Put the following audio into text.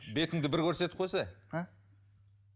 бетіңді бір көрсетіп а